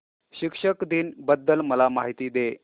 शिक्षक दिन बद्दल मला माहिती दे